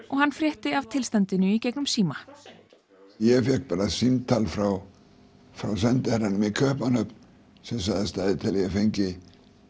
og hann frétti af í gegnum síma ég fékk bara símtal frá sendiherranum í Kaupmannahöfn sem sagði stæði til að ég fengi